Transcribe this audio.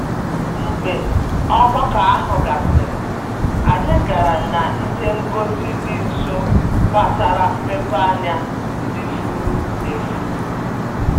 Mgbe ogbako ahụ gasịrị, anyị gara n'ihe ngosi dị nso gbasara mmepeanya ndị furu efu.